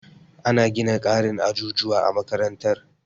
Ana gina ƙarin ajujuwa a makarantar.